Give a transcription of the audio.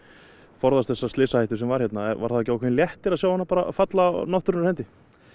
forðast þessa slysahættu sem var hérna var það þá ekki ákveðin léttir að sjá hana falla af náttúrunnar hendi